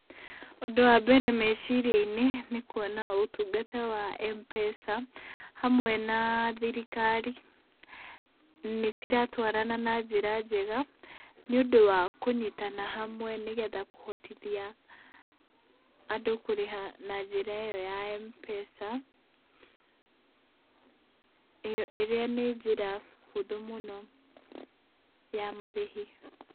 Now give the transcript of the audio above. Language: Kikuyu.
Ũndũ wa mbere meciria-inĩ nĩ kuona ũtungata wa Mpesa hamwe na thirikari, nĩciratwarana na njĩra njega nĩũndũ wa kũnyitana hamwe nĩgetha kũhotithia andũ kũrĩha na njira iyo ya mpesa irĩa nĩ njĩra hũthũ mũno ya marĩhi.